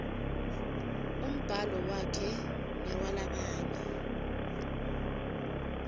umbhalo wakhe newalabanye